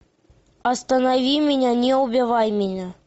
останови меня не убивай меня